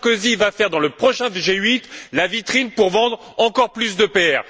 Sarkozy va faire, dans le prochain G8, la vitrine pour vendre encore plus d'EPR.